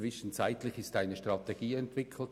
Zwischenzeitlich wurde eine Strategie entwickelt.